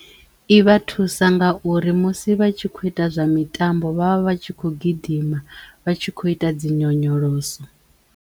I vha thusa nga uri musi vha tshi kho ita zwa mitambo vha vha vha tshi kho gidima vha tshi kho ita dzi nyonyoloso.